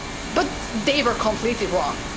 But they were completely wrong.